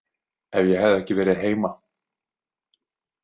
Ef ég hefði ekki verið heima.